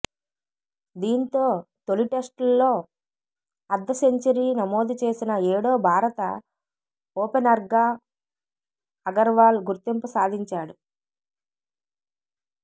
దీంతో తొలి టెస్టుల్లో అర్ధసెంచరీ నమోదు చేసిన ఏడో భారత ఓపెనర్గా అగర్వాల్ గుర్తింపు సాధించాడు